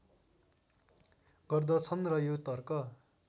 गर्दछन् र यो तर्क